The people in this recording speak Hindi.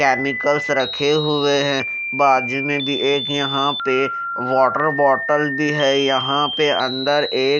कैमिकल्स से रखे हुए हैं बाजू में भी एक यहां पे वाटर बॉटल भी है यहां पे अंदर एक--